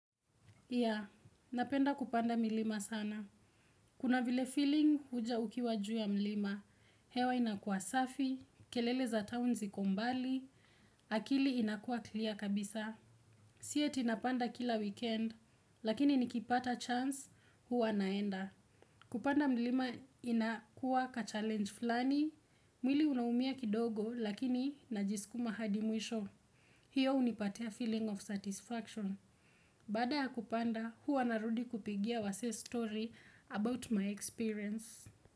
Napenda kupanda milima sana. Kuna vile feeling huja ukiwa juu ya mlima. Hewa inakua safi, kelele za town ziko mbali, akili inakua clear kabisa. Sio eti napanda kila weekend, lakini nikipata chance huwa naenda. Kupanda milima inakua ka challenge fulani, mwili unaumia kidogo lakini najisukuma hadi mwisho. Hiyo hunipatia feeling of satisfaction. Baada ya kupanda, huwa narudi kupigia wasee story about my experience.